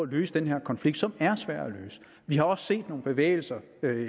løse den her konflikt som er svær at løse vi har også set nogle bevægelser